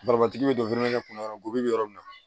tigi bɛ don kɔnɔ yɔrɔ gosi bi yɔrɔ min na